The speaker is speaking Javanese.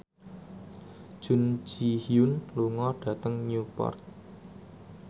Jun Ji Hyun lunga dhateng Newport